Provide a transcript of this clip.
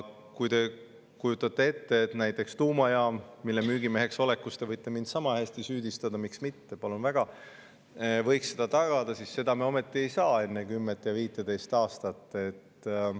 Kui te kujutate ette, et näiteks tuumajaam, mille müügimeheks olemises te võite mind sama hästi süüdistada – miks mitte, palun väga –, võiks seda tagada, siis seda me ometi ei saa enne 10–15 aastat.